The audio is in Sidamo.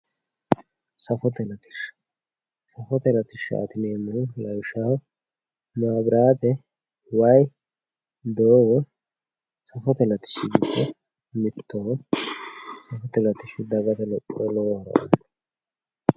Saafotte laatisha saafitte laatishatti yinemohu laawishaho maabiratte waayi doogo saafotte laatishi giddo mittoho saafotte laatishi daagatte lophora loowo hooro ano